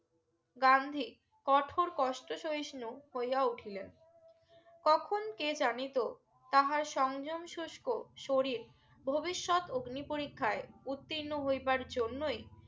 গান্ধী কোঠর কষ্ট সহিষ্ণু হইয়া উঠিলেন কখন কে জানিত তাহার সঞ্জন শুষ্ক শরীর ভবিষ্যৎ আগ্নি পরিক্ষায় উত্তীর্ণ হইবার জন্যই